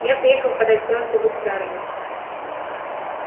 я приехала подать просьбу государыне